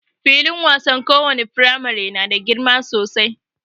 Filin wasan lowace firamamre na da girma sosai.